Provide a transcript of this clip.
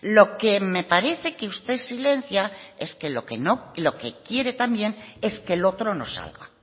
lo que me parece que usted silencia es que lo que quiere también es que el otro no salga